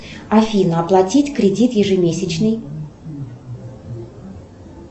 афина оплатить кредит ежемесячный